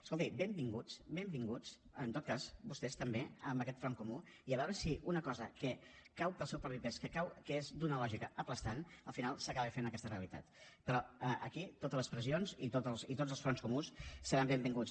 escolti benvinguts benvinguts en tot cas vostès també a aquest front comú i a veure si una cosa que cau pel seu propi pes que és d’una lògica aclaparadora al final s’acaba fent aquesta realitat però aquí totes les pressions i tots els fronts comuns seran benvinguts